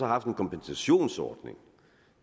haft en kompensationsordning